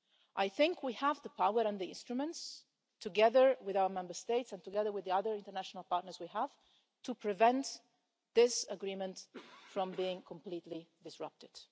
I think we have the power and the instruments, together with our Member States and together with the other international partners we have, to prevent this agreement from being completely disrupted.